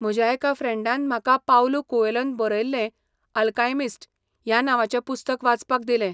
म्हज्या एका फ्रँडान म्हाका पाउलू कुएलोन बरयल्लें आल्कायमिस्ट ह्या नांवाचें पुस्तक वाचपाक दिलें.